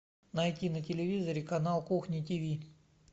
найти на телевизоре канал кухня тв